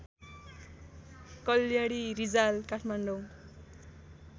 Kalyani Rijal Kathmandu